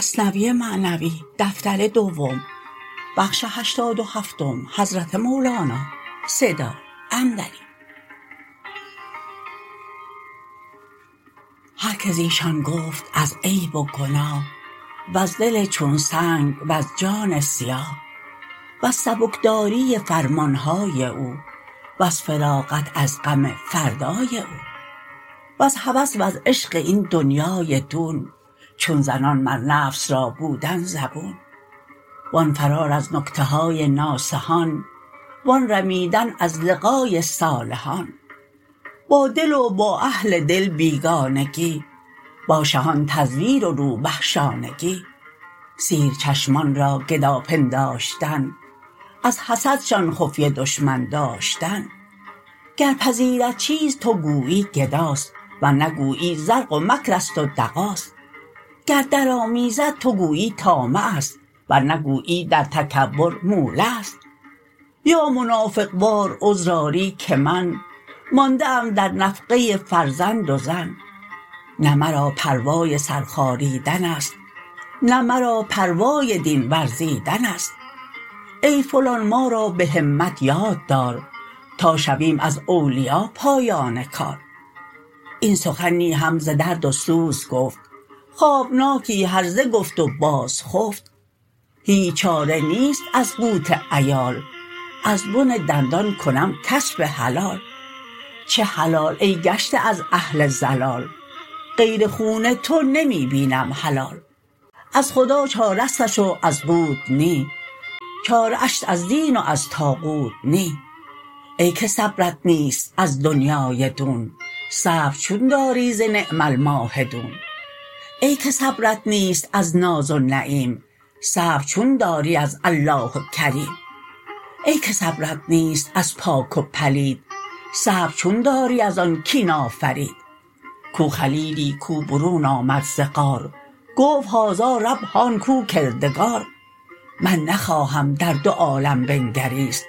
هر که زیشان گفت از عیب و گناه وز دل چون سنگ وز جان سیاه وز سبک داری فرمانهای او وز فراغت از غم فردای او وز هوس وز عشق این دنیای دون چون زنان مر نفس را بودن زبون وان فرار از نکته های ناصحان وان رمیدن از لقای صالحان با دل و با اهل دل بیگانگی با شهان تزویر و روبه شانگی سیر چشمان را گدا پنداشتن از حسدشان خفیه دشمن داشتن گر پذیرد چیز تو گویی گداست ورنه گویی زرق و مکرست و دغاست گر در آمیزد تو گویی طامعست ورنی گویی در تکبر مولعست یا منافق وار عذر آری که من مانده ام در نفقه فرزند و زن نه مرا پروای سر خاریدنست نه مرا پروای دین ورزیدنست ای فلان ما را بهمت یاد دار تا شویم از اولیا پایان کار این سخن نی هم ز درد و سوز گفت خوابناکی هرزه گفت و باز خفت هیچ چاره نیست از قوت عیال از بن دندان کنم کسپ حلال چه حلال ای گشته از اهل ضلال غیر خون تو نمی بینم حلال از خدا چاره ستش و از قوت نی چاره ش است از دین و از طاغوت نی ای که صبرت نیست از دنیای دون صبر چون داری ز نعم الماهدون ای که صبرت نیست از ناز و نعیم صبر چون داری از الله کریم ای که صبرت نیست از پاک و پلید صبر چون داری از آن کین آفرید کو خلیلی کو برون آمد ز غار گفت هذا رب هان کو کردگار من نخواهم در دو عالم بنگریست